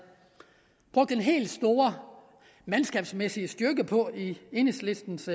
brugt den helt store mandskabsmæssige styrke på i enhedslistens